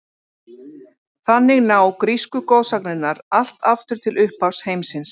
Þannig ná grísku goðsagnirnar allt aftur til upphafs heimsins.